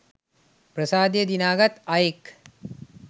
ප්‍රසාදය දිනාගත් අයෙක්.